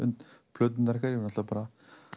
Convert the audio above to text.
plöturnar ykkar þið náttúrulega bara